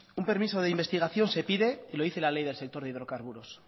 un permiso de investigación se pide y lo dice la ley del sector de hidrocarburos